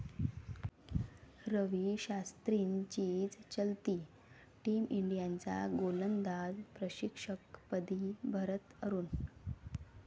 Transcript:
रवी शास्त्रींचीच चलती, टीम इंडियाच्या गोलंदाज प्रशिक्षकपदी भरत अरूण